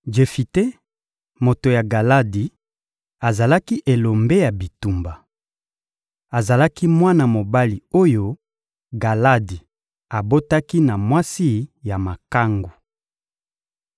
Jefite, moto ya Galadi, azalaki elombe ya bitumba. Azalaki mwana mobali oyo Galadi abotaki na mwasi ya makangu.